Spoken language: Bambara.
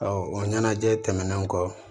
o ɲɛnajɛ tɛmɛnen kɔ